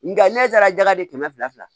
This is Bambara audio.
Nga ne taara jakadi kɛmɛ fila la